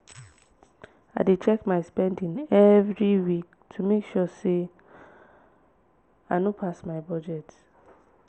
i dey check my spending every week to make sure i no pass my budget.